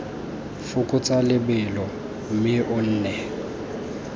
fokotsa lebelo mme o nne